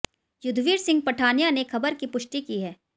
युद्धवीर सिंह पठानिया ने खबर की पुष्टि की है